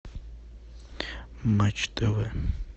матч тв